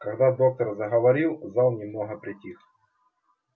когда доктор заговорил зал немного притих